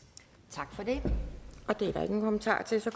tak for det og det er der ingen kommentarer til